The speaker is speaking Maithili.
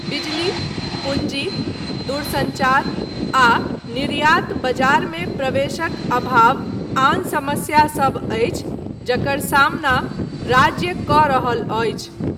बिजली, पूँजी, दूरसंचार आ निर्यात बजारमे प्रवेशक अभाव आन समस्या सभ अछि जकर सामना राज्य कऽ रहल अछि।